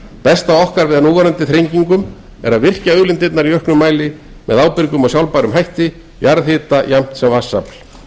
besta andsvar okkar við núverandi þrengingum er að virkja auðlindirnar í auknum mæli með ábyrgum og sjálfbærum hætti jarðhita jafnt sem vatnsafl